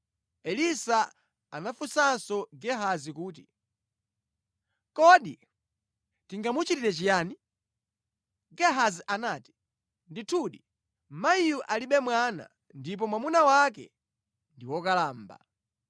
Elisa anafunsanso Gehazi kuti, “Kodi tingamuchitire chiyani?” Gehazi anati, “Ndithu, mayiyu alibe mwana ndipo mwamuna wake ndi wokalamba.”